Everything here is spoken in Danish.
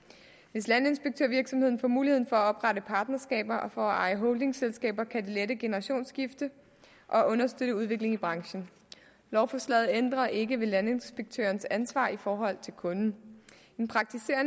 hvis landinspektørvirksomheder får mulighed for at oprette partnerskaber og for at eje holdingselskaber kan det lette generationsskiftet og understøtte udviklingen i branchen lovforslaget ændrer ikke ved landinspektørens ansvar i forhold til kunden